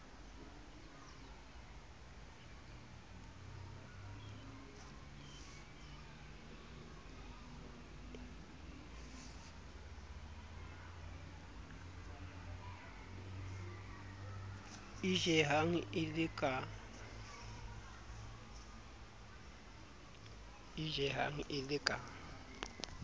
e jehang e le ka